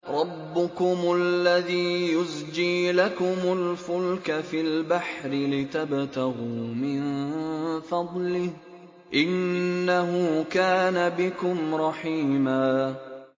رَّبُّكُمُ الَّذِي يُزْجِي لَكُمُ الْفُلْكَ فِي الْبَحْرِ لِتَبْتَغُوا مِن فَضْلِهِ ۚ إِنَّهُ كَانَ بِكُمْ رَحِيمًا